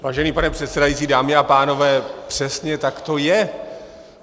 Vážený pane předsedající, dámy a pánové, přesně tak to je.